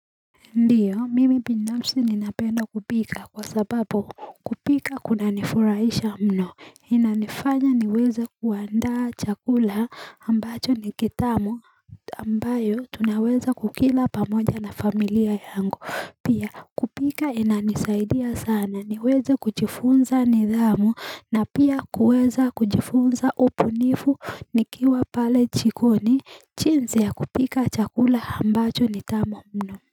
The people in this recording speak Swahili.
Ndiyo, mimi binafsi ninapenda kupika kwa sababu kupika kunanifurahisha mno, inanifanya niweze kuandaa chakula ambacho ni kitamu ambayo tunaweza kukila pamoja na familia yangu, pia kupika inanisaidia sana, niweze kujiifunza nidhamu na pia kuweza kujiifunza ubunifu nikiwa pale jikoni, jinsi ya kupika chakula ambacho ni tamu mno.